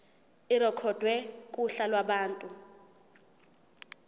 irekhodwe kuhla lwabantu